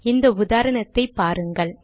இந்த உதாரணத்தை பாருங்கள்